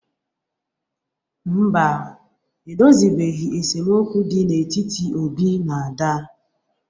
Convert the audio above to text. Mba, e dozibeghi esemokwu dị n'etiti Obi na Ada.